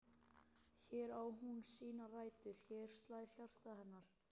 Hér á hún sínar rætur, hér slær hjarta hennar.